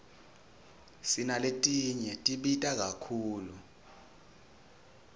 sinaletinye tibita kakhulu